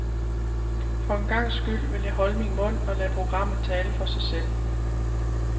For en gangs skyld vil jeg holde min mund og lade programmet tale for sig selv.